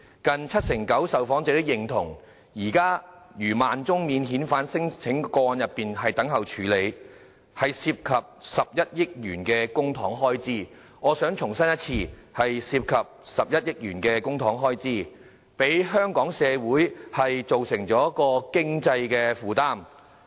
近七成九受訪者認同，現時逾1萬宗免遣返聲請個案等候處理，涉及11億元公帑的開支——我想重申，是涉及11億元公帑的開支——對香港社會造成經濟負擔。